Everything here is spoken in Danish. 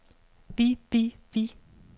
vi vi vi